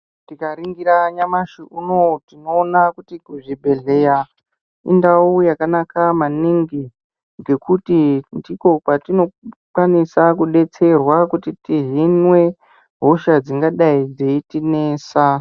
Tikaringira nyamashi unou tinoona kuti zvibhedhleya indau yakanaka maningi. Ngekuti ndiko kwatinokwanisa kudetserwa kuti tihinwe hosha dzingadai dzeitinesa.